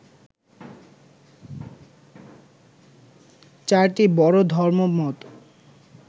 চারটি বড় ধর্মমত